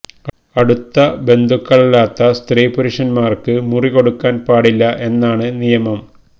അടുത്ത ബന്ധുക്കളല്ലാത്ത സ്ത്രീ പുരുഷന്മാര്ക്ക് മുറി കൊടുക്കാന് പാടില്ല എന്നാണ് നിയമം